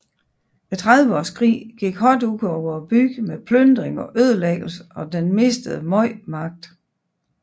Trediveårskrigen gik hårdt ud over byen med plyndring og ødelæggelse og den mistet meget magt